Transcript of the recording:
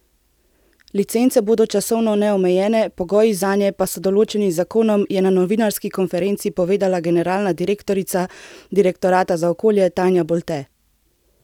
Licence bodo časovno neomejene, pogoji zanje pa so določeni z zakonom, je na novinarski konferenci povedala generalna direktorica Direktorata za okolje Tanja Bolte.